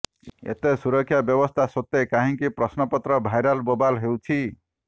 ଏତେ ସୁରକ୍ଷା ବ୍ୟବସ୍ଥା ସତ୍ତ୍ବେ କାହିଁକି ପ୍ରଶ୍ନପତ୍ର ଭାଇରାଲ ବୋବାଲ ହେଉଛି